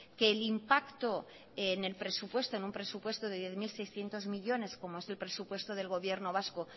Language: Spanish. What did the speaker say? que el impacto en el presupuesto en un presupuesto de diez mil seiscientos millónes como es el presupuesto del gobierno vasco